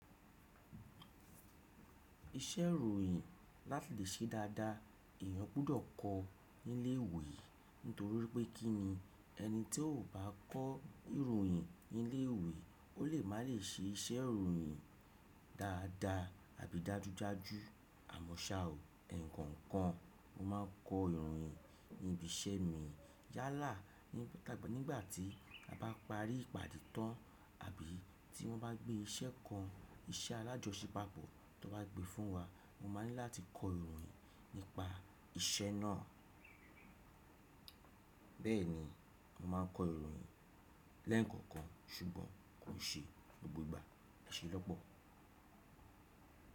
Iṣẹ́ ìròyìn láti lè ṣe dáadáa èèyàn gbudọ̀ kọ nílé ìwé. Nítorí pé kí ni ẹni tí ò bá kọ́ ìròyìn nílé ìwé, ó lè má lè ṣe iṣẹ́ ìròyìn dáadáa àbí dájúdájú. Àmọ́ ṣà ó ẹ̀ǹkankan mo máa ń kọ ìròyìn ní ibi iṣẹ́ mi. Yálà nígbà tí a bá parí ìpàdé tán àbí tí wọ́n bá gbé iṣẹ́ kan, iṣẹ́ alájọṣepápọ̀ tó bá gbe fún wa mo máa ní láti kọ ìròyìn nípa iṣẹ́ náà. Bẹ́ẹ̀ni mo máa ń kọ ìròyìn lẹ́ẹ̀nǹkankan ṣùgbọ́n kò ṣe ní gbogbo ìgbà. Ẹ ṣé lọ́pọ̀.